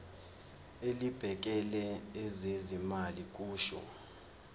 elibhekele ezezimali kusho